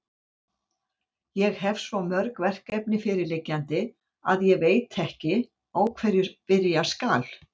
Ég hefi svo mörg verkefni fyrirliggjandi, að ég veit ekki, á hverju byrja skal.